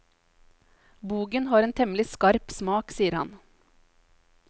Bogen har en temmelig skarp smak, sier han.